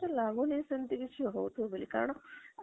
ତ ଲାଗୁନି ସେମିତି କିଛି ହାଉଥିବ ବୋଲି କାରଣ